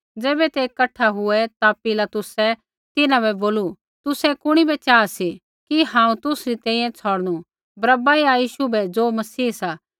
ज़ैबै ते कठा हुऐ ता पिलातुसै तिन्हां बै बोलू तुसै कुणी बै चाहा सी कि हांऊँ तुसरी तैंईंयैं छ़ौड़नू बरअब्बा या यीशु बै ज़ो मसीह सा